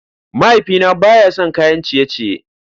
Mahaifina baya son kayan ciye-ciye.